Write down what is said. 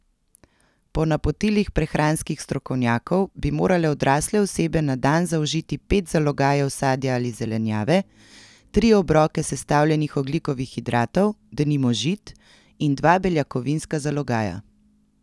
Po napotilih prehranskih strokovnjakov bi morale odrasle osebe na dan zaužiti pet zalogajev sadja ali zelenjave, tri obroke sestavljenih ogljikovih hidratov, denimo žit, in dva beljakovinska zalogaja.